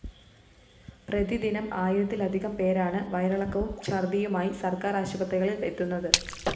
പ്രതിദിനം ആയിരത്തിലധികം പേരാണ് വയറിളക്കവും ഛര്‍ദ്ദിയുമായി സര്‍ക്കാര്‍ ആശുപത്രികളില്‍ എത്തുന്നത്